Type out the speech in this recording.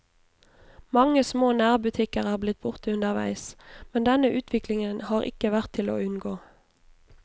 Mange små nærbutikker er blitt borte underveis, men denne utviklingen har ikke vært til å unngå.